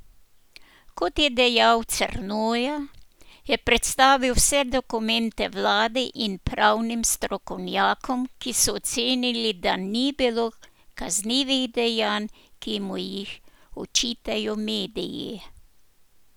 Kot je dejal Crnoja, je predstavil vse dokumente vladi in pravnim strokovnjakom, ki so ocenili, da ni bilo kaznivih dejanj, ki mu jih očitajo mediji.